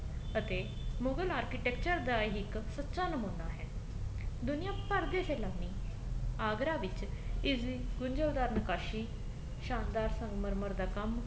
ਅਤੇ ਮੁਗਲ architecture ਦਾ ਹੀ ਇੱਕ ਸੱਚਾ ਨਮੂਨਾ ਹੈ ਦੁਨੀਆ ਭਰ ਕੇ ਸ਼ੇਲਾਨੀ ਆਗਰਾ ਵਿੱਚ ਇਸ ਦੀ ਗੁੰਜਲਦਾਰ ਨਿਕਾਸੀ ਸ਼ਾਨਦਾਰ ਸੰਗਮਰ ਦਾ ਕੰਮ